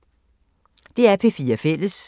DR P4 Fælles